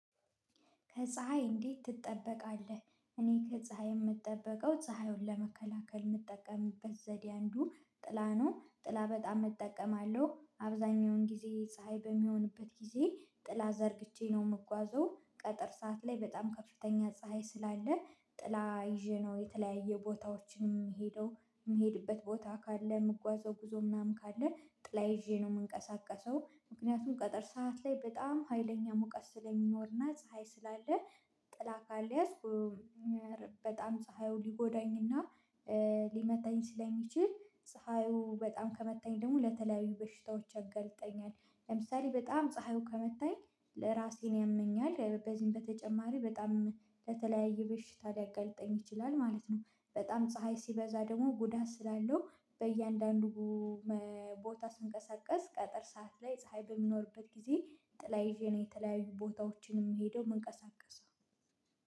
ከፀሀይ እንዴት ትጠበቃለህ? እኔ ከፀሀይ የምጠበቀው ፀሀዩን ለመከላከል የምጠቀምበት ዘዴ አንዱ ጥላ ነው ጥላ በጣም እጠቀማለሁ አብዛኛውን ጊዜ ፀሀይ በሚሆንበት ጊዜ ጥላ ዘርግቼ ነው የምጓዘው። ቀትር ሰዓት ላይ በጣም ከፍተኛ ፀሀይ ስላለ ጥላ ይዤ ነው የተለያየ ቦታዎችንም የምሄደው የምሄድበት ቦታ ካለ የምጓዘው ጉዞ ምናምን ካለ ጥላ ይዤ ነው የምንቀሳቀሰው። ምክንያቱም ቀትር ሰዓት ላይ በጣም ሀይለኛ ሙቀት ስለሚኖርና ፀሀይ ስላለ ጥላ ካልያዝኩ በጣም ፀሀዩ ሊጎዳኝና ሊመታኝ ሲለኝ ስለሚችል ፀሀዩ በጣም ከመታኝ ደግሞ ለተለያዩ በሽታዎች አገልጠኛል። ለምሳሌ በጣም ፀሀዩ ከመታኝ ለራሴን ያመኛል በዚህም በተጨማሪ በጣም ለተለያየ በሽታ ሊያጋልጠኝ ይችላል ማለት ነው። በጣም ፀሀይ ሲበዛ ደግሞ ጉዳት ስላለው በእያንዳንዱ ቦታ ስንቀሳቀስ ቀትር ሰዓት ላይ ፀሀይ በምኖርበት ጊዜ ጥላ ይዤ ነው የተለያዩ ቦታዎችን የምሄደው የምንቀሳቀሰው።